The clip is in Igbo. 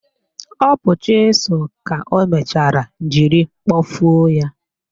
Ọ bụ chịsụl ka o mechara jiri kpọfuo ya.